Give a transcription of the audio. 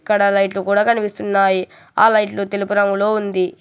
అక్కడ లైట్లు కూడా కనిపిస్తున్నాయి ఆ లైట్లు తెలుపు రంగులో ఉంది.